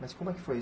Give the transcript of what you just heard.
Mas como é que foi